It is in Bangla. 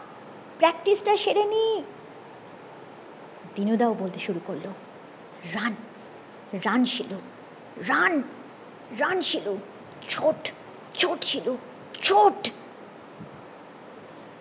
practice টা সেরে নি দিনু দাও বলতে শুরু করলো run run Shilu run run Shilu ছোট ছোট শিলু ছোট